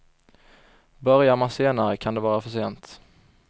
Börjar man senare kan det vara för sent.